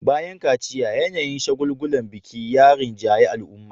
Bayan kaciya, yanayin shagulgulan biki ya rinjayi al'umma